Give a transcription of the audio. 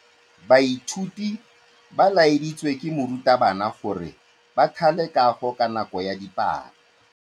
Baithuti ba laeditswe ke morutabana gore ba thale kagô ka nako ya dipalô.